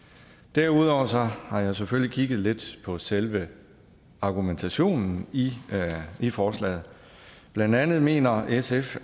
derudover har jeg selvfølgelig kigget lidt på selve argumentationen i i forslaget blandt andet mener sf